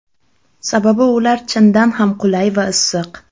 Sababi ular chindan ham qulay va issiq.